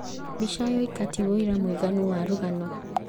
Mbica yoika ti wũira mũiganu wa rũgano